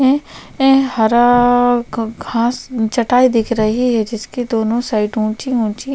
है हरा घास चटाई दिख रही है जिसके दोनों साइड ऊंची-ऊंची--